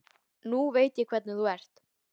Nú veit ég hvernig þú ert!